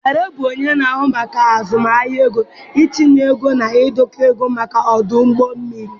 Dare bụ onye na-ahụ maka azụmahịa ego, itinye ego na ndekọ ego maka ọdụ ụgbọ mmiri.